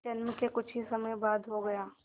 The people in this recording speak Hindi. जन्म के कुछ ही समय बाद हो गया